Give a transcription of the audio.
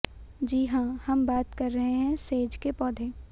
जी हां हम बात कर रहे हैं सेज के पौधे